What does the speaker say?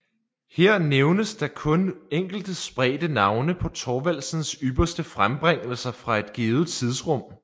Her nævnes da kun enkelte spredte navne på Thorvaldsens ypperste frembringelser fra et givet tidsrum